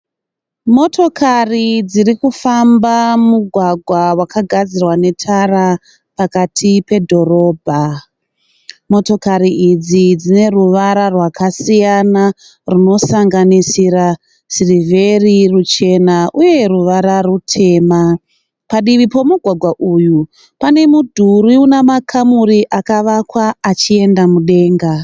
Motokari dziri kufamba mugwagwa wakagadzirwa netara pakati pedhorobha. Motokari idzi dzine ruvara rwakasiyana runosanganisira sirivheri, ruchena uye ruvara rutema. Padivi pomugwagwa uyu pane mudhuri une makamuri akavakwa achienda mudenga.